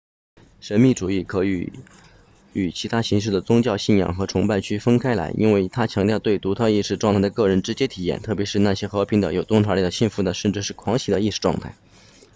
神秘主义可以与其他形式的宗教信仰和崇拜区分开来因为它强调对独特意识状态的个人直接体验特别是那些和平的有洞察力的幸福的甚至是狂喜的意识状态